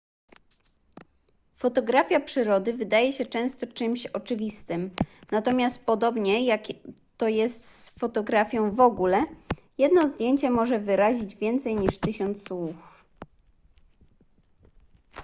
fotografia przyrody wydaje się często czymś oczywistym natomiast podobnie jak to jest z fotografią w ogóle jedno zdjęcie może wyrazić więcej niż tysiąc słów